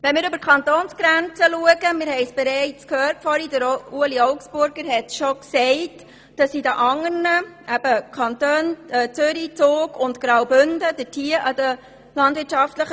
Wenn wir über die Kantonsgrenzen schauen, sehen wir, dass in die anderen landwirtschaftlichen Schulen Abermillionen Franken investiert wurden.